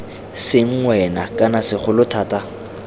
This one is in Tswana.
seng wena kana segolo thata